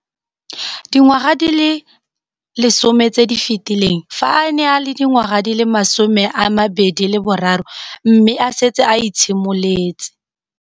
Dingwaga di le 10 tse di fetileng, fa a ne a le dingwaga di le 23 mme a setse a itshimoletse